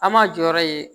An ma jɔyɔrɔ ye